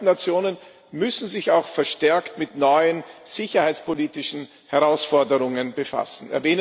Die Vereinten Nationen müssen sich auch verstärkt mit neuen sicherheitspolitischen Herausforderungen befassen.